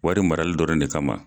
Wari marali dɔrɔn de kama